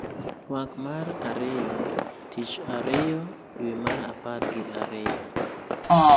Twak mar 2: Tich Ariyo, dwe mar apar gi ariyo 2